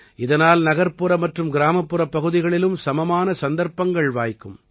இதனால் நகர்ப்புற மற்றும் கிராமப்புறப் பகுதிகளிலும் சமமான சந்தர்ப்பங்கள் வாய்க்கும்